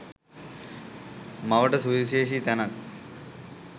මවට සුවිශේෂී තැනක්